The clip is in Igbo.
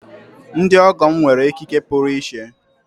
Ndị ọgọ m nwere ekike puru iche.